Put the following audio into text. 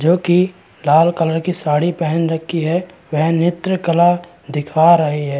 जो कि लाल कलर की साड़ी पहन रखी है. वह नित्र कला दिखा रहीं है।